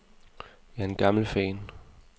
Jeg er en gammel fan.